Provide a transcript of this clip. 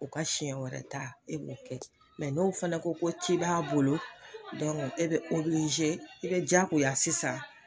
U ka siyɛn wɛrɛ ta e b'o kɛ n'o fana ko ko ci b'a bolo e bɛ i bɛ jaagoya sisan.